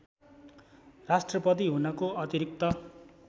राष्ट्रपति हुनको अतिरिक्त